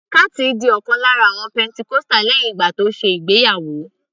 Kathy di ọ̀kan lára àwọn pentecostal lẹ́hìn ìgbà tó ṣe ìgbéyàwó